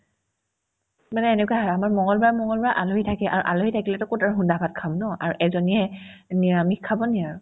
মানে এনেকুৱা হয় আমাৰ মংগলবাৰ মংগলবাৰে আলহী থাকে আৰু আলহী থাকিলেতো ক'ত আৰু সুদা ভাত খাম ন আৰু এজনীয়ে নিৰামিষ খাব নেকি আৰু